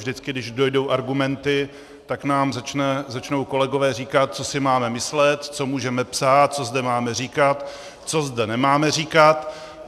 Vždycky když dojdou argumenty, tak nám začnou kolegové říkat, co si máme myslet, co můžeme psát, co zde máme říkat, co zde nemáme říkat.